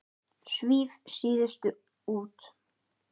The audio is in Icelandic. Svíf síðust út.